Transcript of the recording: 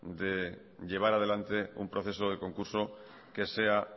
de llevar adelante un proceso de concurso que sea